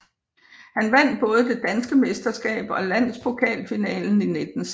Han vandt både det danske mesterskab og landspokalfinalen 1916